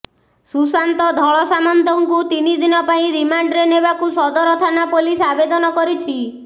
ସୁଶାନ୍ତ ଧଳସାମନ୍ତଙ୍କୁ ତିନି ଦିନ ପାଇଁ ରିମାଣ୍ଡରେ ନେବାକୁ ସଦର ଥାନା ପୋଲିସ ଆବେଦନ କରିଛି